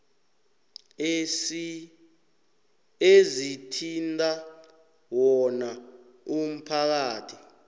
ezithinta wona umphakathi